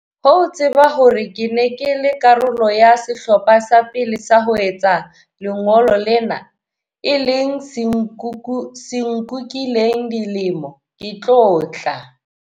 Ho tseba hore ke ne ke le karolo ya sehlopha sa pele sa ho etsa lengolo lena, e leng se nkukileng dilemo, ke tlotla.